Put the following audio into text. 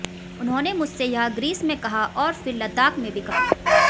उन्होंने मुझसे यह ग्रीस में कहा और फिर लद्दाख में भी कहा